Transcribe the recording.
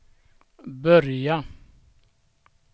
börja